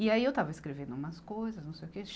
E aí eu estava escrevendo umas coisas, não sei o quê.